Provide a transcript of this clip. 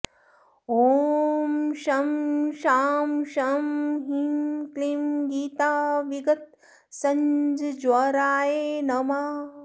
ॐ शं शां षं ह्रीं क्लीं गीताविगतसञ्ज्वराय नमः